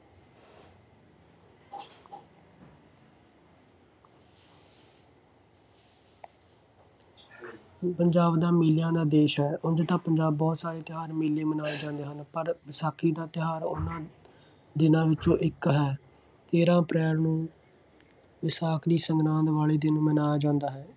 ਇਹ ਪੰਜਾਬ ਦਾ ਮੇਲਿਆਂ ਦਾ ਦੇਸ਼ ਹੈ। ਉਂਝ ਤਾਂ ਪੰਜਾਬ ਬਹੁਤ ਸਾਰੇ ਤਿਉਹਾਰ ਮੇਲੇ ਮਨਾਏ ਜਾਂਦੇ ਹਨ। ਪਰ ਵਿਸਾਖੀ ਦਾ ਤਿਉਹਾਰ ਉਹਨਾ ਦਿਨਾਂ ਵਿੱਚੋਂ ਇੱਕ ਹੈ। ਤੇਰਾਂ ਅਪ੍ਰੈਲ ਨੂੰ ਵਿਸਾਖ ਦੀ ਸੰਗਰਾਂਦ ਵਾਲੇ ਦਿਨ ਮਨਾਇਆ ਜਾਂਦਾ ਹੈ।